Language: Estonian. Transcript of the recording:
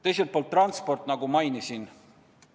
Teiselt poolt transport, nagu ma mainisin.